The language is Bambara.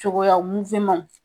Cogoya muwemanw